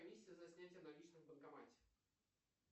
комиссия за снятие наличных в банкомате